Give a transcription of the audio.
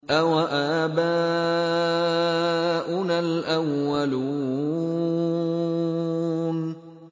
أَوَآبَاؤُنَا الْأَوَّلُونَ